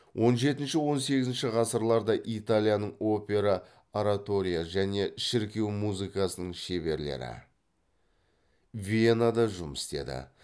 он жетінші он сегізінші ғасырларда италияның опера оратория және шіркеу музыкасының шеберлері венада жұмыс істеді